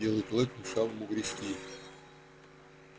белый клык мешал ему грести